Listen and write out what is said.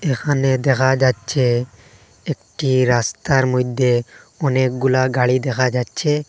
এহানে দেহা যাচ্ছে একটি রাস্তার মইদ্যে অনেক গুলা গাড়ি দেহা যাচ্ছে।